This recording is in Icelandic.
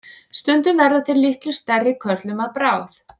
Stundum verða þeir litlu stærri körlum að bráð.